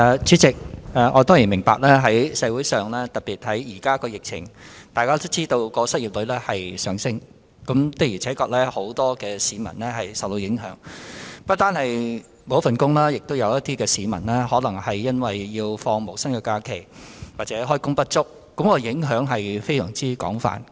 主席，我當然明白在現時的疫情下，失業率會不斷上升，的確有很多市民受到影響，不單有市民失去工作，亦有部分市民可能要放無薪假期或開工不足，影響非常廣泛。